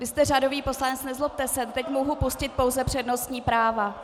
Vy jste řadový poslanec, nezlobte se, teď mohu pustit pouze přednostní práva.